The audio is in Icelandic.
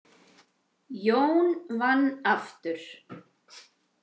Jón vann aftur.